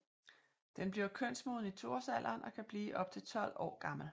Den bliver kønsmoden i 2 årsalderen og kan blive op til 12 år gammel